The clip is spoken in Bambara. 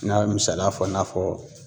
N'a be misaliya fɔ i n'a fɔ